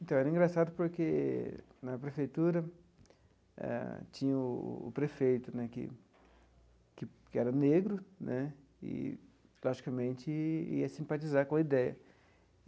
Então, era engraçado porque, na prefeitura eh, tinha o prefeito né, que que que era negro né, e, logicamente, ia simpatizar com a ideia.